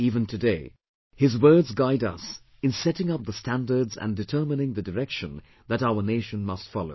Even today, his words guide us in setting up the standards and determining the direction that our nation must follow